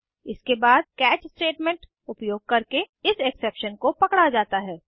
इसके बाद catch statement उपयोग करके इस एक्सेप्शन को पकड़ा जाता है